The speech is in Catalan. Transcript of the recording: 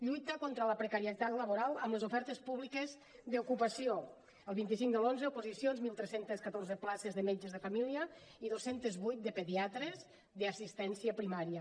lluita contra la precarietat laboral amb les ofertes públiques d’ocupació el vint cinc de l’onze oposicions tretze deu quatre places de metges de família i dos cents i vuit de pediatres d’assistència primària